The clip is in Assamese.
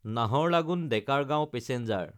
নাহাৰলাগুন–ডেকাৰগাঁও পেচেঞ্জাৰ